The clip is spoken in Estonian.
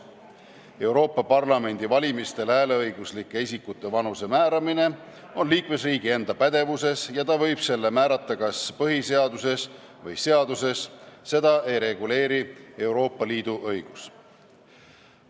Euroopa Parlamendi valimistel hääleõiguslike isikute vanuse määramine on liikmesriigi enda pädevuses – ta võib selle määrata kas põhiseaduses või seaduses, seda ei reguleeri Euroopa Liidu õigus.